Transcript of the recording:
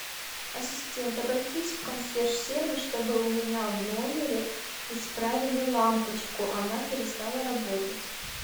ассистент обратись в консьерж сервис чтобы у меня в номере исправили лампочку она перестала работать